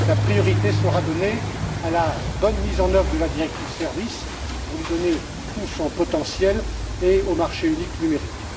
La priorité sera donnée à la bonne mise en œuvre de la directive sur les services, pour lui donner tout son potentiel, et au marché unique numérique.